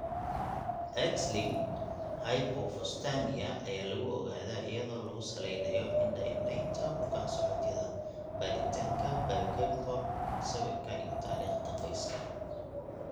Xlinked hypophosphatemia (XLH) ayaa lagu ogaadaa iyadoo lagu salaynayo indho-indhaynta bukaan-socodyada, baaritaanka biochemical, sawirka, iyo taariikhda qoyska.